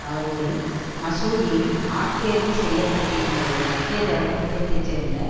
அவர் ஒரு மசூதியில் ஆட்தேர்வு செய்ய பட்டிருந்த ஒரு மத்திய தர குடும்பத்தை சேர்ந்த